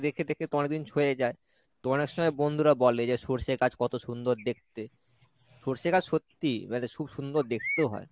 দেখে দেখে তো অনেকদিন সয়ে যায় তো অনেক সময় বন্ধুরা বলে যে সর্ষে গাছ কত সুন্দর দেখতে সর্ষে গাছ সত্যিই মানে খুব সুন্দর দেখতেও হয়।